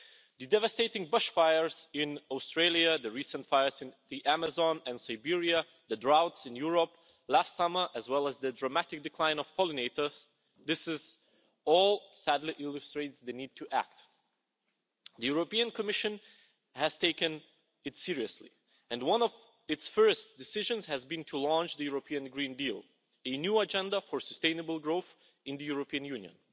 The devastating bush fires in Australia, the recent fires in the Amazon and Siberia, the droughts in Europe last summer, as well as the dramatic decline in pollinators this all sadly illustrates the need to act. The European Commission has taken it seriously, and one of its first decisions has been to launch the European Green Deal, the new agenda for sustainable growth in the European Union,